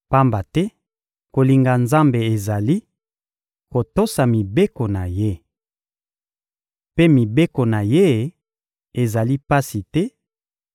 Pamba te kolinga Nzambe ezali: kotosa mibeko na Ye. Mpe mibeko na Ye ezali pasi te,